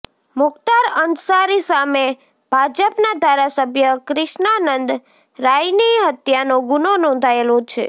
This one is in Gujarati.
મુખ્તાર અન્સારી સામે ભાજપનાં ધારાસભ્ય ક્રિષ્નાનંદ રાયની હત્યાનો ગુનો નોંધાયેલો છે